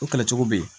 O kɛlɛ cogo bɛ yen